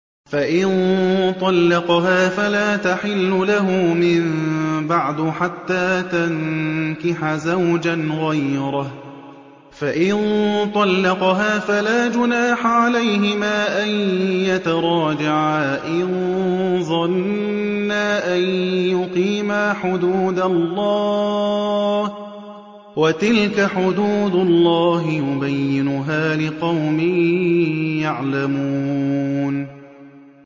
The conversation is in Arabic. فَإِن طَلَّقَهَا فَلَا تَحِلُّ لَهُ مِن بَعْدُ حَتَّىٰ تَنكِحَ زَوْجًا غَيْرَهُ ۗ فَإِن طَلَّقَهَا فَلَا جُنَاحَ عَلَيْهِمَا أَن يَتَرَاجَعَا إِن ظَنَّا أَن يُقِيمَا حُدُودَ اللَّهِ ۗ وَتِلْكَ حُدُودُ اللَّهِ يُبَيِّنُهَا لِقَوْمٍ يَعْلَمُونَ